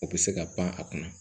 O bɛ se ka pan a kunna